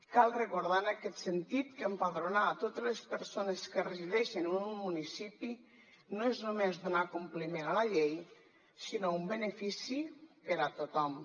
cal recordar en aquest sentit que empadronar totes les persones que resideixen en un municipi no és només donar compliment a la llei sinó un benefici per a tothom